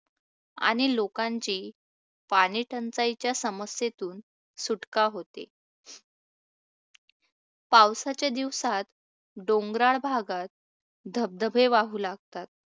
आणि लोकांची पाणीटंचाईच्या समस्येतून सुटका होते. पावसाच्या दिवसात डोंगराळ भागात धबधबे वाहू लागतात,